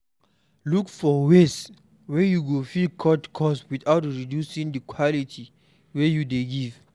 Look for ways wey you fit cut cost without reducing di quality wey you dey give